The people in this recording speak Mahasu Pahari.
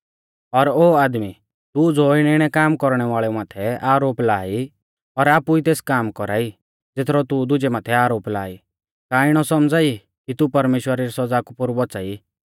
और ओ आदमी तू ज़ो इणैइणै काम कौरणै वाल़ेऊ माथै आरोप लाआ ई और आपु ई तेस काम कौरा ई ज़ेथरौ तू दुजै माथै आरोप ला ई का इणौ सौमझ़ाई कि तू परमेश्‍वरा री सौज़ा कु पोरु बौच़ाई